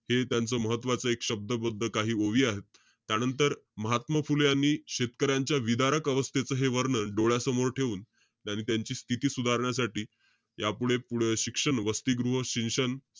हे त्यांचं महत्वाचं एक शब्दबद्ध काही ओवी आहेत. त्यानंतर महात्मा फुले यांनी शेतकऱ्यांच्या विदारक अवस्थेचं हे वर्णन डोळ्यासमोर ठेऊन, त्यांनी त्यांची स्तिथी सुधारण्यासाठी, यापुढे पुढे शिक्षण, वसतिगृह, शिक्षण,